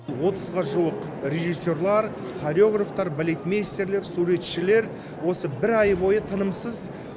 отызға жуық режиссерлар хареографтар балетмэйстерлер суретшілер осы бір ай бойы тынымсыз